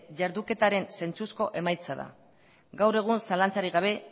jarduketaren zentzuzko emaitza da gaur egun zalantzarik gabe